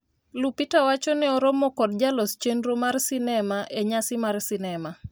Lupita wacho ne oromo kod jalos chenrono mar sinema e nyasi mar sinema